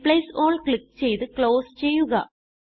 replace all click ചെയ്ത് close ചെയ്യുക